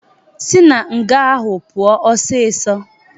Sị na nga ahụ pụọ osisi!